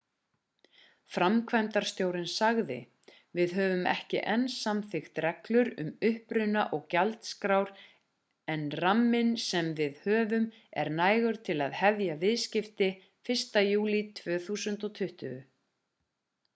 framkvæmdastjórinn sagði við höfum ekki enn samþykkt reglur um uppruna og gjaldskrár en ramminn sem við höfum er nægur til að hefja viðskipti 1. júlí 2020